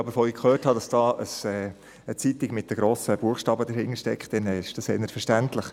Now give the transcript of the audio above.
Als ich aber hörte, dass eine Zeitung mit grossen Buchstaben dahintersteckt, ist das eigentlich verständlich.